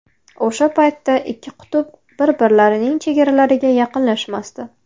O‘sha paytda ikki qutb bir-birlarining chegaralariga yaqinlashmasdi.